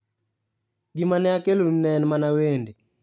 Gima ne akelonu ne en mana wende.